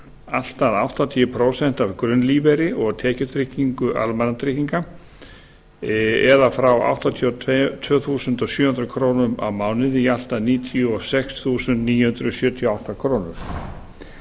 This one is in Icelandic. allt að áttatíu prósent af grunnlífeyri og tekjutryggingu almannatrygginga eða um áttatíu og tvö þúsund sjö hundruð krónur á mánuði í allt að níutíu og sex þúsund níu hundruð sjötíu og átta krónur